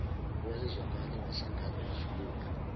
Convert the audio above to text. owayezwakala sangane wajuluka